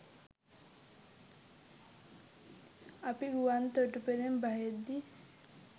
අපි ගුවන් තොටුපොළින් බහිද්දී